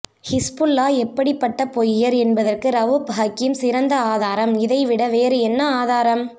Hezbollah எப்படிப்பட்ட பொய்யர் என்பதற்கு ரவுப் ஹக்கீம் சிறந்த ஆதாரம் இதை விட வேறு என்ன ஆதாரம்